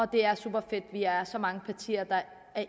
det er superfedt at vi er så mange partier der